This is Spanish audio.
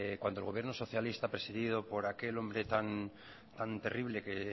cuando el gobierno socialista presidido por aquel hombre tan terrible que